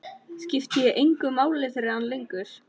Skipti ég engu máli fyrir hann lengur?